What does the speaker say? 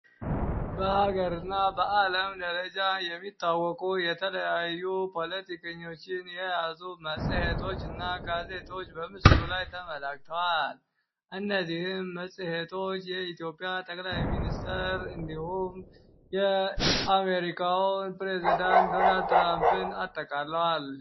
በሀገር እና በዓለም ደረጃ የሚታወቁ የተለያዩ ፖለቲከኞችን የያዙ መጽሔቶች እና ጋዜቶች በምስሩ ላይ ተመላግተዋል እነዚህም መጽሄቶች የኢትዮጵያ ተገላይ ሚኒስተር እንዲሁም የአሜሪካውን ፕሬዝደንት ዶናልድ ትራምፕን አተካለዋል፡፡